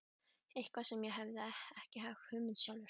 Eitthvað sem hann hafði ekki hugmynd um sjálfur.